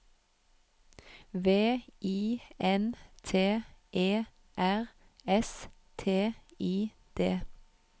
V I N T E R S T I D